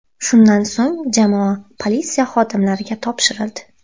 Shundan so‘ng jamoa politsiya xodimlariga topshirildi.